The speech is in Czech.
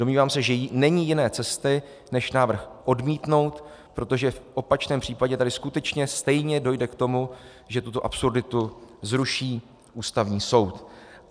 Domnívám se, že není jiné cesty než návrh odmítnout, protože v opačném případě tady skutečně stejně dojde k tomu, že tuto absurditu zruší Ústavní soud.